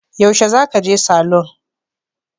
Yaushe za ka je salon?